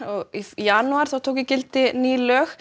janúar tóku gildi ný lög